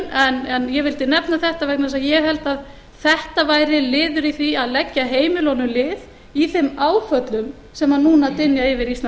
búinn en ég vildi nefna þetta vegna þess að ég held að þetta væri liður í því að leggja heimilunum lið í þeim áföllum sem núna dynja yfir íslenskt